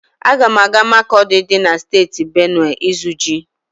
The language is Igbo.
Aga m aga Makọdi dị na Steeti Benuwe ịzụ ji.